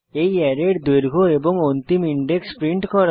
এই অ্যারের দৈর্ঘ্য এবং অন্তিম ইনডেক্স প্রিন্ট করা